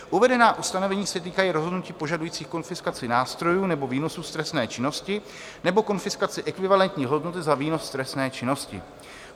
Uvedená ustanovení se týkají rozhodnutí požadujících konfiskaci nástrojů nebo výnosů z trestné činnosti nebo konfiskaci ekvivalentní hodnoty za výnos z trestné činnosti.